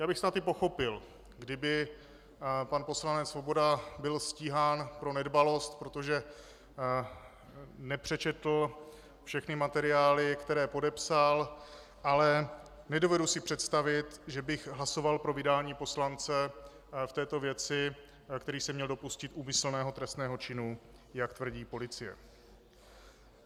Já bych snad i pochopil, kdyby pan poslanec Svoboda byl stíhán pro nedbalost, protože nepřečetl všechny materiály, které podepsal, ale nedovedu si představit, že bych hlasoval pro vydání poslance v této věci, který se měl dopustit úmyslného trestného činu, jak tvrdí policie.